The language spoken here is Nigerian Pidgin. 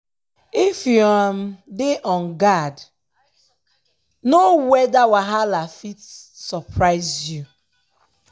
if you um dey on guard no um weada wahala fit surprise you. um